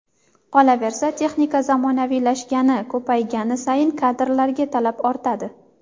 Qolaversa, texnika zamonaviylashgani, ko‘paygani sayin kadrlarga talab ortadi.